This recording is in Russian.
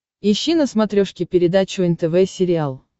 ищи на смотрешке передачу нтв сериал